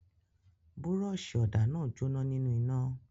Búrọ́ṣì ọ̀dà náà jóná nínú iná.